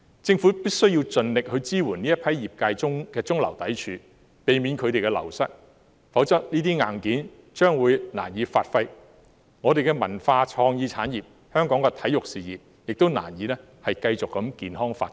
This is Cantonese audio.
政府必須盡力支援這批業界的中流砥柱，避免他們流失，否則這些硬件將會難以發揮，我們的文化創意產業和香港的體育事業亦會難以繼續健康發展。